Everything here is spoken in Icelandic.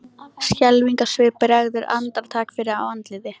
Skelfingarsvip bregður andartak fyrir á andliti